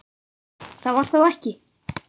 Það var þó ekki?